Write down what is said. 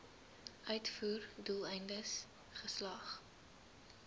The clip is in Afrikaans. uitvoer doeleindes geslag